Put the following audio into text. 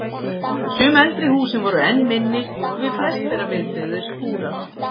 Sum eldri húsin voru enn minni og við flest þeirra viðbyggðir skúrar.